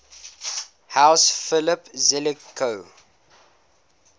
house philip zelikow